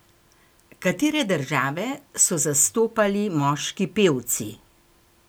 Katere države so zastopali moški pevci?